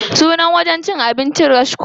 Sunan wurin cin abincin ɗin Rashko.